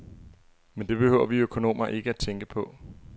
Men det behøver vi økonomer ikke tænke på.